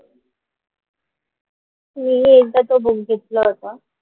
मी ही एकदा तो book घेतलं होतं.